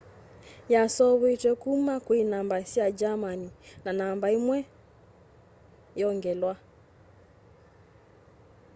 yaseuvitw'e kuma kwi namba sya germany na namba imwe ~o/~o” yongelwa